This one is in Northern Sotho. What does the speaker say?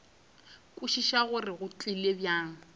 kwešiša gore go tlile bjang